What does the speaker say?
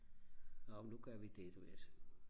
nå men nu gør vi det du ved altså